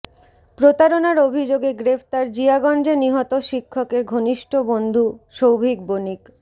প্রতারণার অভিযোগে গ্রেফতার জিয়াগঞ্জে নিহত শিক্ষকের ঘনিষ্ঠ বন্ধু সৌভিক বণিক